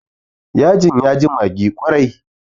yajin ya ji maggi kwarai